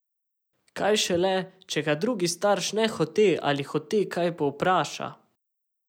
Kaj šele, če ga drugi starš nehote ali hote kaj povpraša.